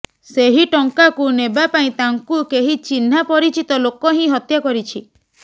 ସେହି ଟଙ୍କାକୁ ନେବା ପାଇଁ ତାଙ୍କୁ କେହି ଚିହ୍ନା ପରିଚିତ ଲୋକ ହିଁ ହତ୍ୟା କରିଛି